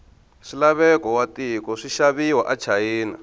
swilaveko watiko swishaviwa achina